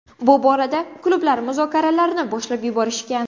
Bu borada klublar muzokaralarni boshlab yuborishgan.